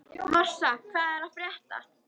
Marsa, hvað er að frétta?